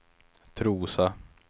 Trosa